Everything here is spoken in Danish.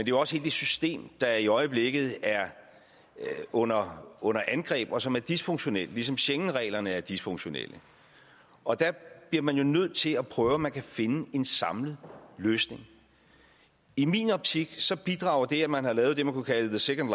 jo også et system der i øjeblikket er under under angreb og som er dysfunktionelt ligesom schengenreglerne er dysfunktionelle og der bliver man jo nødt til at prøve om man kan finde en samlet løsning i min optik bidrager det at man har lavet det man kunne kalde the second